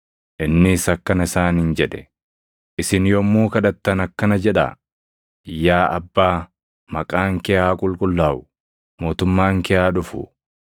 Innis akkana isaaniin jedhe; “Isin yommuu kadhattan akkana jedhaa: “ ‘Yaa Abbaa, maqaan kee haa qulqullaaʼu; mootummaan kee haa dhufu.